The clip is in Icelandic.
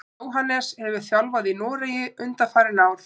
Jóhannes hefur þjálfað í Noregi undanfarin ár.